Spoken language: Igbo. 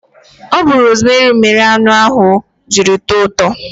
Ọ bu rosmeri mere anụ ahụ jiri tọọ ụtọ